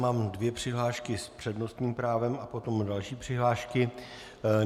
Mám dvě přihlášky s přednostním právem a potom další přihlášky.